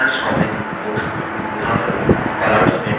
अधिकांश comic books उदाहरणस्वरूप